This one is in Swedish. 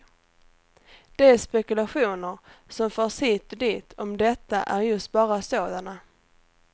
De spekulationer som förs hit och dit om detta är just bara sådana.